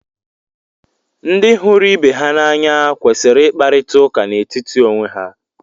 ndị hụrụ ibe ha n’anya kwesịrị ịkparịta ụka n'etiti onwe ha